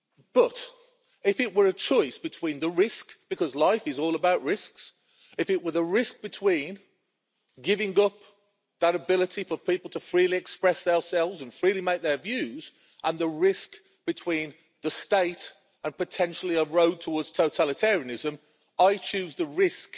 But, if it were a choice between the risk because life is all about risks of giving up that ability for people to freely express themselves and freely make their views, and the risk of the state and potentially a road towards totalitarianism, I choose the risk